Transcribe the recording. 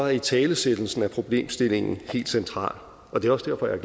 italesættelsen af problemstillingen helt central og det er også derfor jeg